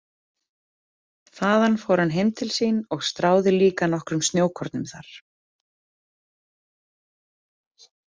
Þaðan fór hann heim til sín og stráði líka nokkrum snjókornum þar.